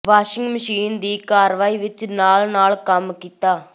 washing machine ਦੀ ਕਾਰਵਾਈ ਵਿੱਚ ਨਾਲ ਨਾਲ ਕੰਮ ਕੀਤਾ